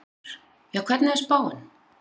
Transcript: Þórhildur: Já, hvernig er spáin?